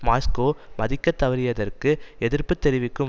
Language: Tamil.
மாஸ்கோ மதிக்கத்தவறியற்கு எதிர்ப்புத்தெரிவிக்கும்